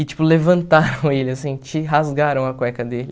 E, tipo, levantaram ele, assim, de rasgaram a cueca dele.